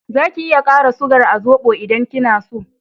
Za ki iya kara sugar a zobo idan kina so